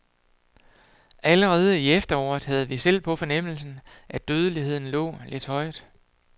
Allerede i efteråret havde vi selv på fornemmelsen, at dødeligheden lå lidt højt.